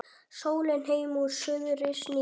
Sólin heim úr suðri snýr